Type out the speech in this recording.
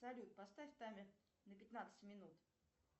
салют поставь таймер на пятнадцать минут